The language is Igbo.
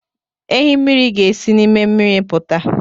Ehi mmiri ga-esi nime miri aputa